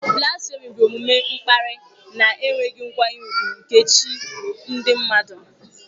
Blasfèmi bụ omume mkparị na enweghị nkwanye ùgwù nke chi ndị mmadụ.